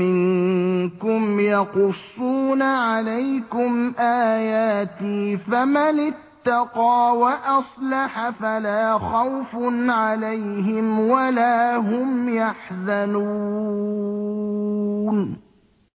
مِّنكُمْ يَقُصُّونَ عَلَيْكُمْ آيَاتِي ۙ فَمَنِ اتَّقَىٰ وَأَصْلَحَ فَلَا خَوْفٌ عَلَيْهِمْ وَلَا هُمْ يَحْزَنُونَ